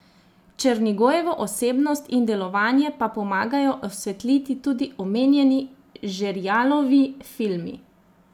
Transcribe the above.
Černigojevo osebnost in delovanje pa pomagajo osvetliti tudi omenjeni Žerjalovi filmi.